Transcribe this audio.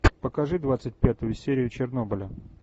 покажи двадцать пятую серию чернобыля